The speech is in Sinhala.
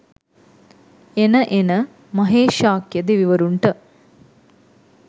එන එන මහේශාක්‍යය දෙවිවරුන්ට